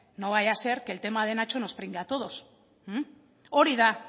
no vaya a ser que el tema de nacho nos pringue a todos hori da